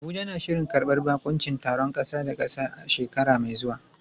Abuja na shirin karbar baƙuncin taron ƙasa da ƙasa a shekara mai zuwa.